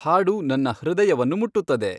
ಹಾಡು ನನ್ನ ಹೃದಯವನ್ನು ಮುಟ್ಟುತ್ತದೆ